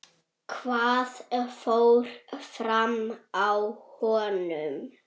Hvað fór fram á honum?